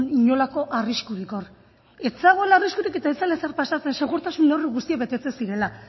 inolako arriskurik hor ez zegoela arriskurik eta ez zela ezer pasatzen segurtasun neurri guztiak betetzen zirela